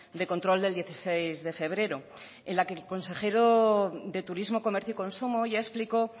de control del dieciséis de febrero en la que el consejero de turismo comercio y consumo ya explicó